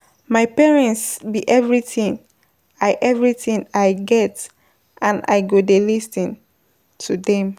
My parents be everything I everything I get and I go dey lis ten to dem